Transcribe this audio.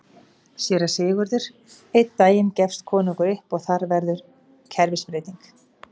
SÉRA SIGURÐUR: Einn daginn gefst konungur upp og þar verður kerfisbreyting!